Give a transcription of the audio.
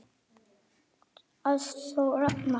Ástþór Ragnar.